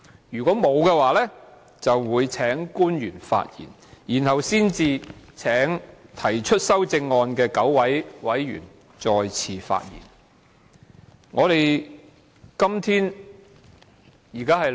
"如沒有，就會請官員發言，然後才請提出修正案的9位委員再次發言。